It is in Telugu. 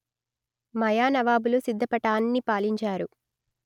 మయా నవాబులు సిద్ధపటాన్ని పాలించారు